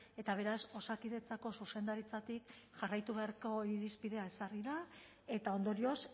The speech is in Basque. eta beraz osakidetzako zuzendaritzatik jarraitu beharreko irizpidea ezarri da eta ondorioz